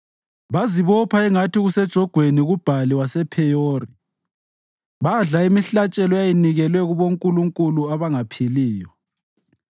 Bazibopha ingathi kusejogweni kuBhali wasePheyori badla imihlatshelo eyayinikelwe kubonkulunkulu abangaphiliyo;